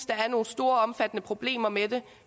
der er nogle store omfattende problemer med det